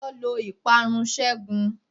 Táyọ́ lọ ìparun ségun.